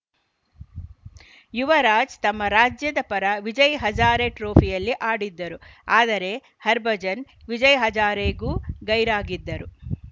ಯುವರಾಜ್‌ ತಮ್ಮ ರಾಜ್ಯದ ಪರ ವಿಜಯ್‌ ಹಜಾರೆ ಟ್ರೋಫಿಯಲ್ಲಿ ಆಡಿದ್ದರು ಆದರೆ ಹರ್ಭಜನ್‌ ವಿಜಯ್‌ ಹಜಾರೆಗೂ ಗೈರಾಗಿದ್ದರು